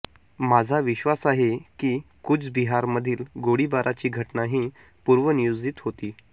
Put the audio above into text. माझा विश्वास आहे की कूचबिहारमधील गोळीबाराची घटना ही पूर्वनियोजित होती